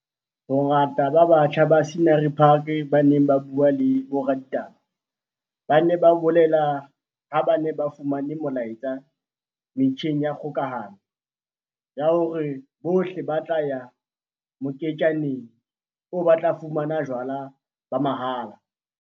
Bongata ba batjha ba Scenery Park ba neng ba bue le boraditaba ba ne ba bolele ha ba ne ba fumane molaetsa metjheng ya kgokahano ya hore bohle ba tla ya moketjaneng oo ba tla fumana jwala ba mahala.